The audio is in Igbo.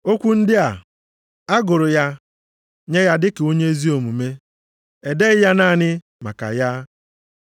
Okwu ndị a, “A gụrụ ya nye ya dịka onye ezi omume,” edeghị ya naanị maka ya.